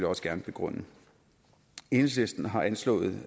også gerne begrunde enhedslisten har anslået